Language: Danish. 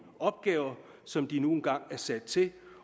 opgaver som de nu engang er sat til